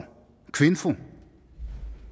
kvinfo